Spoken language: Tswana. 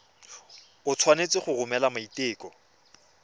o tshwanetse go romela maiteko